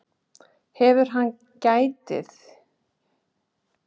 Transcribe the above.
Hefur hann gæði, getur hann spilað og getur hann skorað?